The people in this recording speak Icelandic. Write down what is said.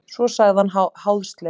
Svo sagði hann háðslega.